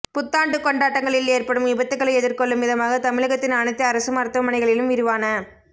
புத்தாண்டு கொண்டாட்டங்களில் ஏற்படும் விபத்துக்களை எதிர்கொள்ளும் விதமாக தமிழகத்தின் அனைத்து அரசு மருத்துவமனைகளிலும் விரிவான